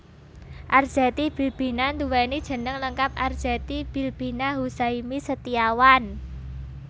Arzetti Bilbina nduwèni jeneng lengkap Arzetti Bilbina Huzaimi Setiawan